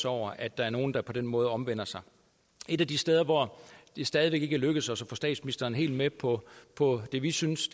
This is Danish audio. over at der er nogle der på den måde omvender sig et af de steder hvor det stadig væk ikke er lykkedes os at få statsministeren helt med på på det vi synes